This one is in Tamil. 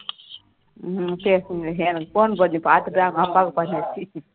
ஹம் பேசுங்க எனக்கு phone பண்ணி பார்த்துட்டு அவனக் அப்பாவுக்கு பண்ணிடுச்சி